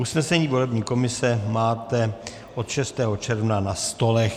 Usnesení volební komise máte od 6. června na stolech.